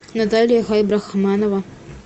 наталья хайбрахманова